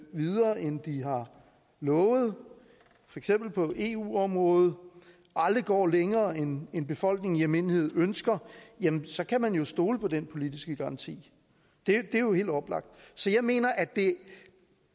videre end de har lovet for eksempel på eu området aldrig går længere end end befolkningen i almindelighed ønsker jamen så kan man jo stole på den politiske garanti det er jo helt oplagt så jeg mener at